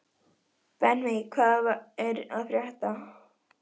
Benvý, hvað er að frétta?